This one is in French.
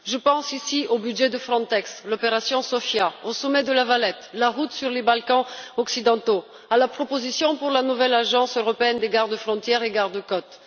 Je pense ici au budget de Frontex, à l'opération Sophia, au sommet de La Valette, à la route des Balkans occidentaux, à la proposition pour la nouvelle agence européenne des gardes frontières et gardes côtes.